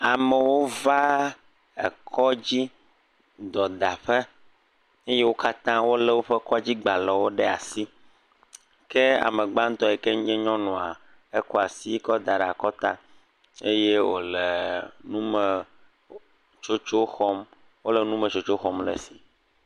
Amewo va ekɔdzi dɔdaƒe eye wò katã wòle woƒe kɔdzi gbalẽ ɖe asi. Ke ame gbãtɔ yike nye nyɔnua kɔ asi kɔ da ɖe akɔta eye eye wole nume tsotso xɔm. Wòle nume tsotso xɔm le esi.